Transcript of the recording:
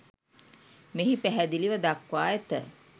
මෙහි පැහැදිලිව දක්වා ඇත.